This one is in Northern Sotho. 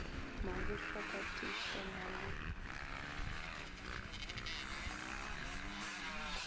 mabusha ka tiišo na le